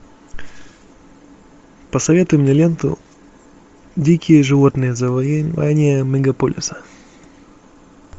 посоветуй мне ленту дикие животные завоевание мегаполиса